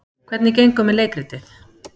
Hvernig gengur með leikritið?